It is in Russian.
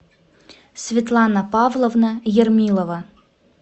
светлана павловна ермилова